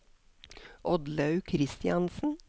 Oddlaug Kristiansen